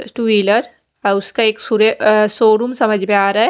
इस two wheeler और उसका एक अ शोवरूम समझ में आ रहा है।